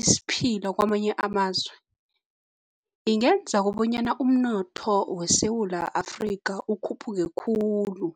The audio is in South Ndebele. isiphila kamanye amazwe, ingenza kobonyana umnotho weSewula Afrika ukhuphuke khulu.